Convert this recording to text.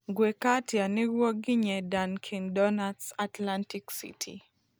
Ngwĩka atĩa nĩguo nginye Dunkin' Donuts, Atlantic City